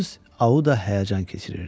Missis Auda həyəcan keçirirdi.